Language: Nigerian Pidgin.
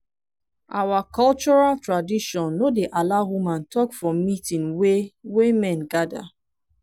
our cultural tradition no dey allow woman talk for meeting wey wey men gather